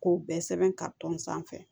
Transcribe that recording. K'o bɛɛ sɛbɛn sanfɛ